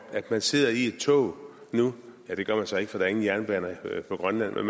man sidder i et tog nu ja det gør man så ikke for der er ingen jernbaner i grønland